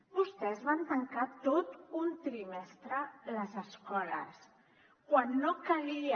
vostès van tancar tot un trimestre les escoles quan no calia